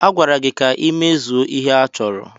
A gwara gị ka ị mezuo ihe a chọrọ!